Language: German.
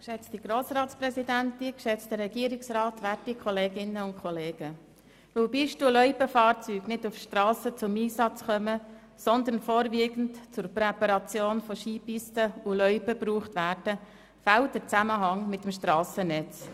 Weil Pisten- und Loipenfahrzeuge nicht auf Strassen zum Einsatz kommen, sondern vorwiegend zum Präparieren von Skipisten und Loipen genutzt werden, fehlt der Zusammenhang mit dem Strassennetz.